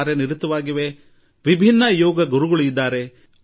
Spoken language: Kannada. ಪ್ರತಿಯೊಬ್ಬರದೂ ವಿಭಿನ್ನ ಅನುಭವ